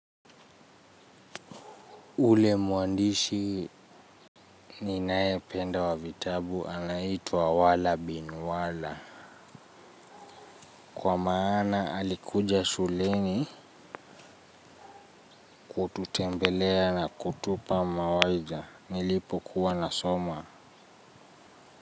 Ule mwandishi ninayempenda wa vitabu anaitwa wala bin wala. Kwa maana alikuja shuleni kututembelea na kutupa mawaidha nilipokuwa nasoma.